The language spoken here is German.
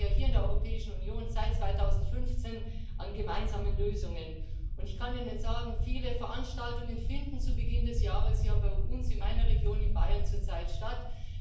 Wir arbeiten ja hier in der Europäischen Union seit 2015 an gemeinsamen Lösungen, und ich kann Ihnen sagen Viele Veranstaltungen finden zu Beginn des Jahres ja bei uns, in meiner Region in Bayern, zurzeit statt.